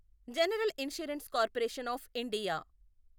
general insurance corporation of India